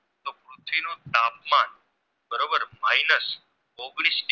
Minus ઓગણીશ